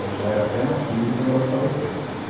Eu já era até nascido quando ela faleceu.